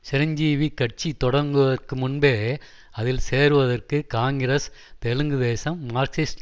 சிரஞ்சீவி கட்சி தொடங்குவதற்கு முன்பே அதில் சேருவதற்கு காங்கிரஸ் தெலுங்கு தேசம் மார்க்சிஸ்ட்